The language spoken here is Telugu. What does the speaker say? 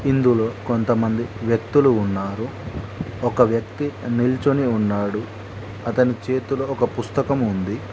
ఇందులో కొంతమంది వ్యక్తులు ఉన్నారు ఒక వ్యక్తి నిల్చొని ఉన్నాడు అతని చేతిలో ఒక పుస్తకం ఉంది.